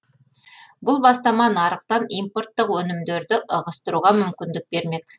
бұл бастама нарықтан импорттық өнімдерді ығыстыруға мүмкіндік бермек